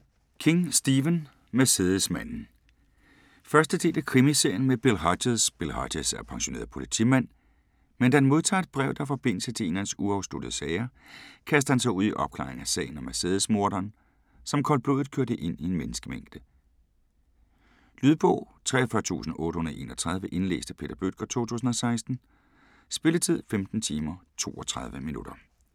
King, Stephen: Mercedesmanden 1. del af Krimiserien med Bill Hodges. Bill Hodges er pensioneret politimand, men da han modtager et brev, der har forbindelse til en af hans uafsluttede sager, kaster han sig ud i opklaringen af sagen om Mercedesmorderen, som koldblodigt kørte ind i en menneskemængde. Lydbog 43831 Indlæst af Peter Bøttger, 2016. Spilletid: 15 timer, 32 minutter.